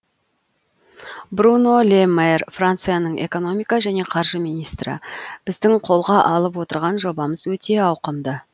бруно ле мэр францияның экономика және қаржы министрі біздің қолға алып отырған жобамыз өте ауқымды